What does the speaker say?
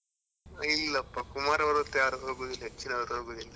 ಇಲ್ಲಪ್ಪ ಕುಮಾರ ಪರ್ವತ ಯಾರು ಹೋಗುದಿಲ್ಲ ಹೆಚ್ಚಿನವ್ರು ಹೋಗುದಿಲ್ಲ.